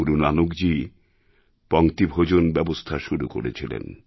গুরু নানকজীই পংক্তিভোজন ব্যবস্থার শুরু করেছিলেন